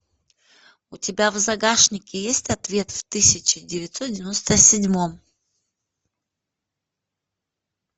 у тебя в загашнике есть ответ в тысяча девятьсот девяноста седьмом